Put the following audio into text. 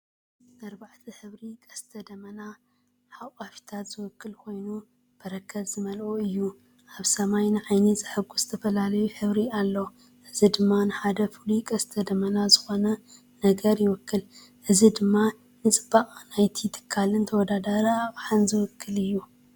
ንኣርባዕተ ሕብሪ ቀስተ ደመና ኣቃፍታት ዝውክል ኮይኑ፡ በረኸት ዝመልአ እዩ። ኣብ ሰማይ ንዓይኒ ዘሐጉስ ዝተፈላለየ ሕብሪ ኣሎ፣ እዚ ድማ ንሓደ ፍሉይ ቀስተ ደመና ዝኾነ ነገር ይውክል። እዚ ድማ ንጽባቐ ናይቲ ትካልን ተወዳዳሪ ኣቕሓን ዝውክል እዩ።